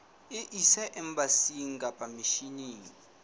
e ise embasing kapa misheneng